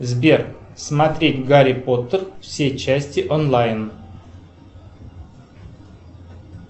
сбер смотреть гарри поттер все части онлайн